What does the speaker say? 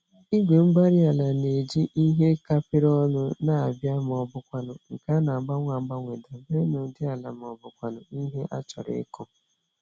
Igwe-mgbárí-ala n'eji ihe kapịrị ọnụ n'abia mọbụkwanụ̀ nke ana-agbanwe agbanwe dabere n'ụdị ala mọbụkwanụ̀ ihe achọrọ ịkụ